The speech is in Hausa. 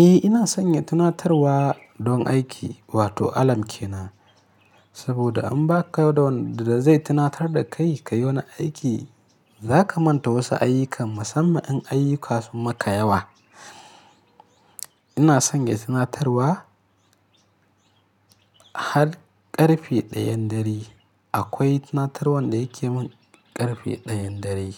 Eh ina sanya tunatarwa don aiki wato alarm kenan. Saboda in baka da wanda zai tunatar da kai ka yi wani aiki, za ka manta wasu ayyuka musamman in ayyuka sun maka yawa. Ina sanya tunatarwa har ƙarfe ɗayan dare. Akwai tunatarwar da yake min ƙarfe ɗayan dare,